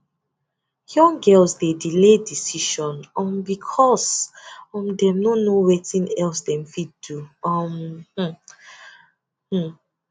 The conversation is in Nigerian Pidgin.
young girls dey delay decision um because um dem no know wetin else dem fit do um um mmm